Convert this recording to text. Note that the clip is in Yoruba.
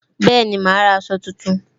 Bẹẹni, ma ra aṣọ tuntun